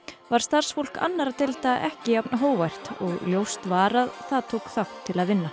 var starfsfólk annarra deilda ekki jafn hógvært og ljóst var að það tók þátt til að vinna